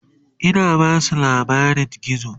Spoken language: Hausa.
Ina Basu labarin gizo